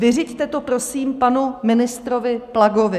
Vyřiďte to, prosím, panu ministrovi Plagovi.